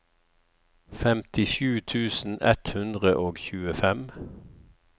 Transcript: femtisju tusen ett hundre og tjuefem